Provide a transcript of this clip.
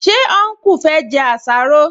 Ṣé ọnkú fẹ́ jẹ àsáró?